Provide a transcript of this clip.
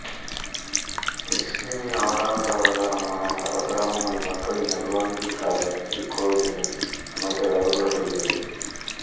விஷ்ணுவின் ஆறாவது அவதாரமான பரசுராம முனி மக்களின் நல்வாழ்விற்காக இக்கோவிலை அமைத்ததாகக் கூறப்படுகிறது